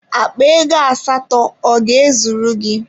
Akpa ego asatọ ọ ga-ezuru gị?